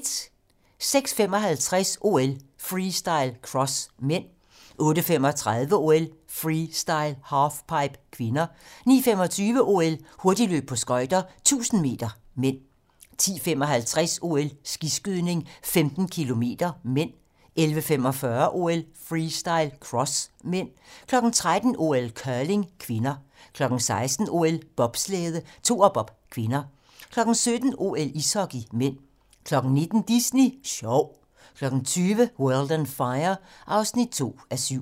06:55: OL: Freestyle - cross (m) 08:35: OL: Freestyle - halfpipe (k) 09:25: OL: Hurtigløb på skøjter - 1000 m (m) 10:55: OL: Skiskydning - 15 km (m) 11:45: OL: Freestyle - cross (m) 13:00: OL: Curling (k) 16:00: OL: Bobslæde - toerbob (k) 17:00: OL: Ishockey (m) 19:00: Disney Sjov 20:00: World on Fire (2:7)